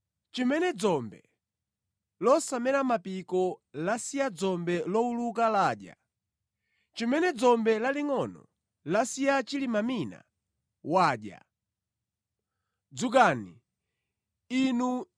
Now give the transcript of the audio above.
Chimene dzombe losamera mapiko lasiya dzombe lowuluka ladya; chimene dzombe lowuluka lasiya dzombe lalingʼono ladya; chimene dzombe lalingʼono lasiya chilimamine wadya.